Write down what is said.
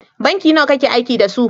Banki nawa kakeaiki da su?